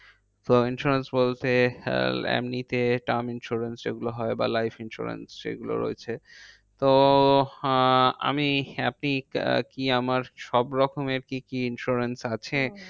তো insurance বলতে আহ এমনিতে term insurance যেগুলো হয় বা life insurance যেগুলো রয়েছে। তো আহ আমি আপনি কি আমার সবরকমের কি কি insurance আছে?